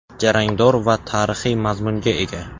Jarangdor va tarixiy mazmunga ega.